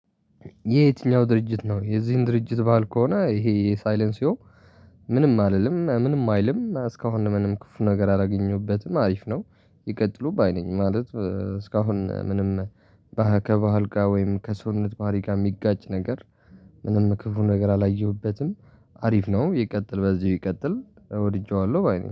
የየትኛው ድርጅት ነው የዚህን ድርጅት ባህል ከሆነ ይሄ የሳይለንሲው ምንም አልልም ምንም አይልም እስካሁን ምንም ክፉ ነገር አላገኘሁበትም አሪፍ ነው። ይቀጥሉ ባይ ነኝ ማለት እስካሁን ምንም ከባሃል ጋር ወይም ከሰውነት ባህሪ ጋር የሚጋጭ ነገር። ምንም ክፉ ነገር አላየሁበትም። አሪፍ ነው ይቀጥል በዚሁ ይቀጥል ወድጄዋለሁ ባይነኝ